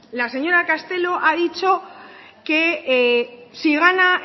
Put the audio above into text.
la señora castelo ha dicho que si gana